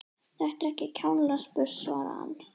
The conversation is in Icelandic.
Þetta er ekki kjánalega spurt svaraði hann.